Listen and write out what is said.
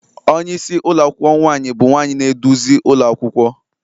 Onye isi ụlọ akwụkwọ nwaanyị bụ nwanyị na-eduzi ụlọ akwụkwọ